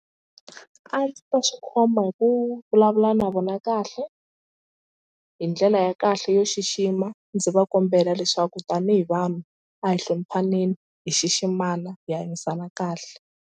A ndzi ta swi khoma hi ku vulavula na vona kahle hi ndlela ya kahle yo xixima ndzi va kombela leswaku tanihi vanhu a hi hloniphaneni hi xiximana hi hanyisana kahle.